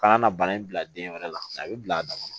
Ka na bana in bila den wɛrɛ la a bɛ bila a dama na